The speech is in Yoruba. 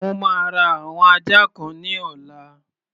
Mo máa ra àwọn ajá kan ní ọ̀la.